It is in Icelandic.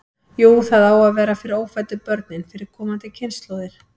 Jú, það á að vera fyrir ófæddu börnin, fyrir komandi kynslóðir.